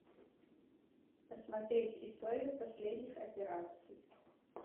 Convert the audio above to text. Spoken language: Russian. посмотреть историю последних операций